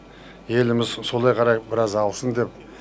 еліміз солай қарай біраз аусын деп